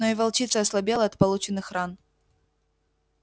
но и волчица ослабела от полученных ран